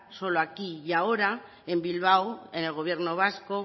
solo aquí y ahora en bilbao en el gobierno vasco